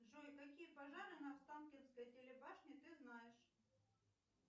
джой какие пожары на останкинской телебашне ты знаешь